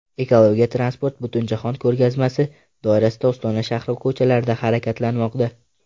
Ekologik transport Butunjahon ko‘rgazmasi doirasida Ostona shahri ko‘chalarida harakatlanmoqda.